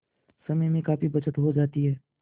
समय में काफी बचत हो जाती है